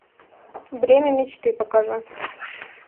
бремя мечты покажи